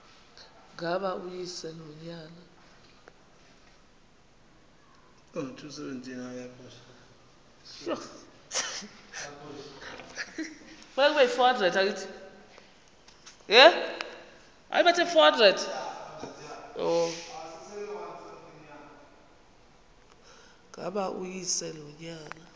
ngaba uyise nonyana